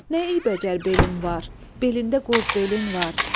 Nə eybəcər belin var, belində qoz belin var.